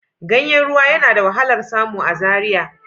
Ganyen ruwa yana da wahalar samu a Zaria